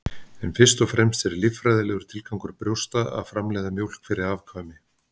En fyrst og fremst er líffræðilegur tilgangur brjósta að framleiða mjólk fyrir afkvæmi.